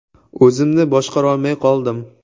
O‘zimni boshqarolmay qoldim.